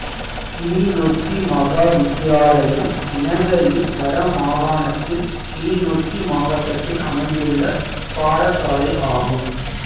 கிளிநொச்சி மகா வித்தியாலயம் இலங்கையின் வட மாகாணத்தில் கிளிநொச்சி மாவட்டத்தில் அமைந்துள்ள பாடசாலை ஆகும்